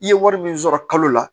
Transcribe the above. I ye wari min sɔrɔ kalo la